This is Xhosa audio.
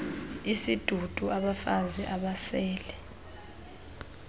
isidudu abafazi abasele